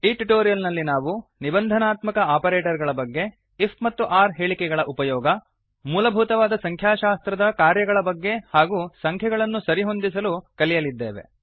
ಈ ಟ್ಯುಟೋರಿಯಲ್ ನಲ್ಲಿ ನಾವು ನಿಬಂಧನಾತ್ಮಕ ಆಪರೇಟರ್ ಗಳ ಬಗ್ಗೆ ಐಎಫ್ ಮತ್ತು ಒರ್ ಹೇಳಿಕೆಗಳ ಉಪಯೋಗ ಮೂಲಭೂತವಾದ ಸಂಖ್ಯಾಶಾಸ್ತ್ರದ ಕಾರ್ಯಗಳಫಂಕ್ಷನ್ ಬಗ್ಗೆ ಹಾಗೂ ಸಂಖ್ಯೆಗಳನ್ನು ಸರಿಹೊಂದಿಸಲು ಕಲಿಯಲಿದ್ದೇವೆ